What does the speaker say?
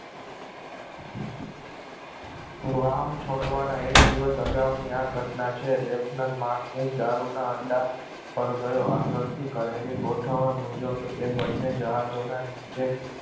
વાહણ છોડવાના એક દિવસ અગાઉની આ ઘટના છે લેપ્લાન માર્ટન દારૂ ના અડા પર ગયો આગળથી કરેલી ગોઠવણ મુજબ એ બંને જહાજોના નીચે